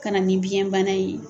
Ka na nin biɲɛ bana ye.